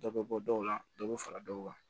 Dɔ bɛ bɔ dɔw la dɔ bɛ fara dɔw kan